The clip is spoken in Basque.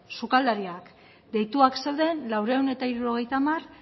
sukaldariak deituak zeuden laurehun eta hirurogeita hamar